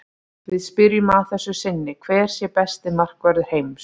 Við spyrjum að þessu sinni hver sé besti markvörður heims?